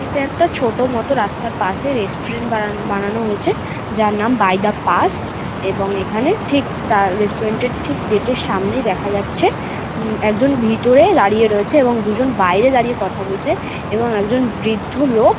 এটা একটা ছোট মত রাস্তার পাশে রেস্টুরেন্ট বানানো বানানো হয়েছে যার নাম বাই দা পাস এবং এখানে ঠিক তার রেস্টুরেন্ট এর ঠিক গেট এর সামনেই দেখা যাচ্ছে উম একজন ভেতরে দাঁড়িয়ে রয়েছে এবং দুজন বাইরে কথা বলছে এবং একজন বৃদ্ধ লোক--